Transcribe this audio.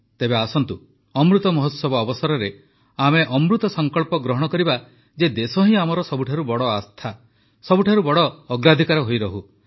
ତେବେ ଆସନ୍ତୁ ଅମୃତ ମହୋତ୍ସବ ଅବସରରେ ଆମେ ଅମୃତ ସଂକଳ୍ପ ଗ୍ରହଣ କରିବା ଯେ ଦେଶ ହିଁ ଆମର ସବୁଠାରୁ ବଡ଼ ଆସ୍ଥା ସବୁଠାରୁ ବଡ଼ ଅଗ୍ରାଧିକାର ହୋଇରହୁ